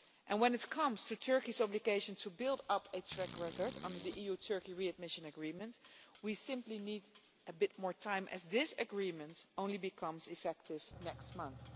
When it comes to Turkey's obligation to build up a track record under the EU Turkey Readmission Agreement, we simply need a bit more time as this agreement only becomes effective next month.